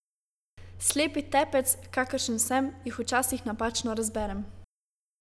Slepi tepec, kakršen sem, jih včasih napačno razberem.